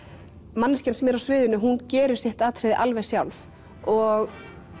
manneskjan sem er á sviðinu hún gerir sitt atriði alveg sjálf og